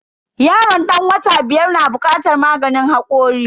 Yaron dan wata biyar na bukatar maganin hakori.